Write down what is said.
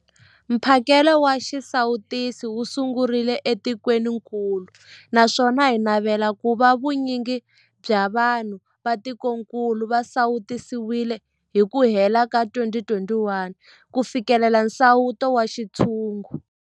Mphakelo wa xisawutisi wu sungurile etikwenikulu naswona hi navela ku va vu nyingi bya vanhu va tikokulu va sawutisiwile hi ku hela ka 2021 ku fikelela nsawuto wa xintshungu.